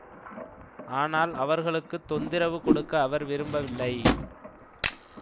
ஆனால் அவர்களுக்கு தொந்திரவு கொடுக்க அவர் விரும்பவில்லை